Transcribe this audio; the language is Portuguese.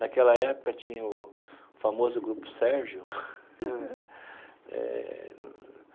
Naquela época, tinha o famoso Grupo Sérgio eh.